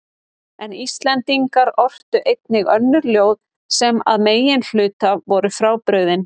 En Íslendingar ortu einnig önnur ljóð sem að meginhluta voru frábrugðin